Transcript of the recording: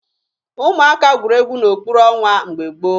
Ụmụaka gwuru egwu n'okpuru ọnwa mgbe gboo